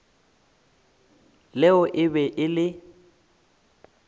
leo e be e le